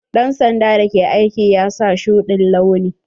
Dan sanda da ke aiki ya sa shuɗi'n launi.